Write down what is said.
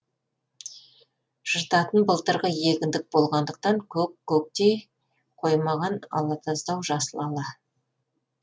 жыртатын былтырғы егіндік болғандықтан көк көктей қоймаған алатаздау жасыл ала